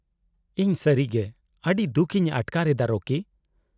-ᱤᱧ ᱥᱟᱹᱨᱤᱜᱮ ᱟᱹᱰᱤ ᱫᱩᱠ ᱤᱧ ᱟᱴᱠᱟᱨ ᱮᱫᱟ ᱨᱚᱠᱤ᱾